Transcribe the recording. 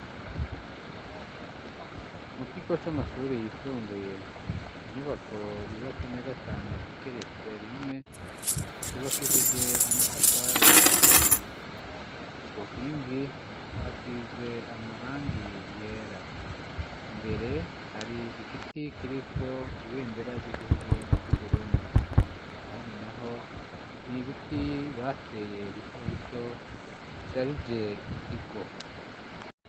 Mu kigo c' amashuri yisumbuye inyubako yubatse neza cane igeretse rimwe yubakishije amatafari ahiye ku nkingi hasize amarangi yera imbere hari igiti kirikoibe ye nderarya igihugu c'uburundi ahandi na ho ni ibiti bateye bito bito bisharije ikigo.